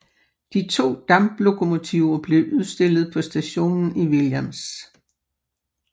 De to damplokomotiver blev udstillet på stationen i Williams